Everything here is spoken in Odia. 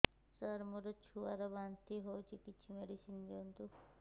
ସାର ମୋର ଛୁଆ ର ବାନ୍ତି ହଉଚି କିଛି ମେଡିସିନ ଦିଅନ୍ତୁ